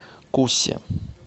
кусе